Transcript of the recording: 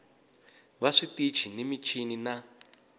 va switichi ni michini na